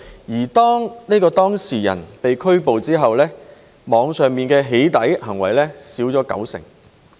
而當這名犯事人被拘捕後，網上的"起底"行為減少了九成。